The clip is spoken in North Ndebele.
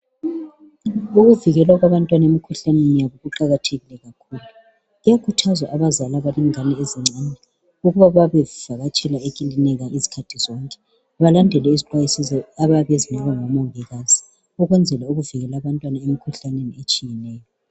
Ukuvikela abantwana emkhuhlaneni kuqakathekile. Kuyakhuthazwa abazali abalengane ezincane ukuba babe bevakatshela ekilinika izikhathi zonke, balandele izixwayiso abayabe bezinikwa ngomongikazi ukwenzela ukuvikela abantwana emkhuhlaneni etshiyeneyo.